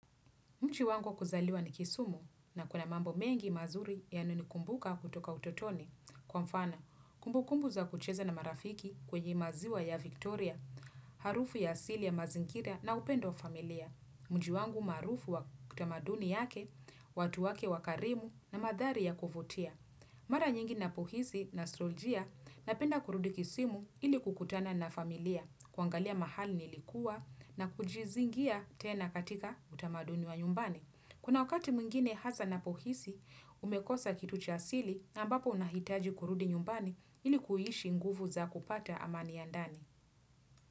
Mji wangu wa kuzaliwa ni kisumu na kuna mambo mengi mazuri yanayo nikumbuka kutoka utotoni. Kwa mfana, kumbukumbu za kucheza na marafiki kwenye maziwa ya Victoria, harufu ya asili ya mazingira na upendo wa familia. Mji wangu maarufu wa tamaduni yake, watu wake wa karimu na madhari ya kuvutia. Mara nyingi na pohisi nastroljia napenda kurudi kisimu ili kukutana na familia, kuangalia mahali nilikuwa na kujizingia tena katika utamaduni wa nyumbani. Kuna wakati mwingine hasa napohisi, umekosa kitu cha asili na ambapo unahitaji kurudi nyumbani ili kuhishi nguvu za kupata amani ya ndani.